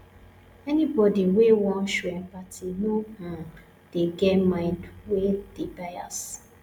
anybodi wey wan show empathy no um dey get mind wey dey bias